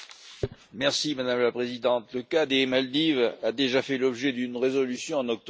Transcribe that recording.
Madame la Présidente, le cas des Maldives a déjà fait l'objet d'une résolution en octobre dernier.